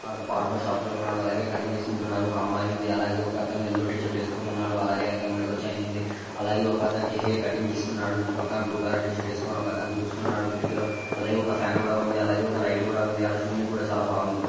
Barber shop లో ఉన్నాడు. అలాగే కటింగ్ చేసుకోంటున్నారు. ఓక అమ్మాయి ఉంది. అలాగే ఒక అతను ఎల్లో కలర్ టిషీర్ట్ వేసుకున్నాడు. అలాగే అతను మెడ లో చైన్ ఉంది. అలాగే ఒక అతనికి హెయిర్ కటింగ్ ఇస్స్తునాడు. ఇటు పక్కన బ్లూ కలర్ టీ షర్ట్ వేసుకొని ఒక అతను కిటికీ వైపు చూస్తునాడుు. కిటికీ లో అలాగే ఒక ఫ్యాన్ కూడా ఉంది. అలాగే ఒక లైట్ ఉంది అలా చుడినికి చాల బాగుంది.